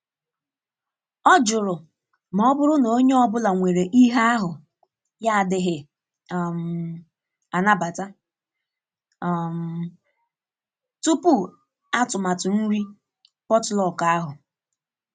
Ọ jụrụ ma ọ bụrụ na onye ọ bụla nwere ihe ahu ya adighi um anabata um tupu atụmatụ nri potluck ahụ.